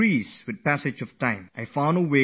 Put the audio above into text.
So it was necessary for me to find a solution to this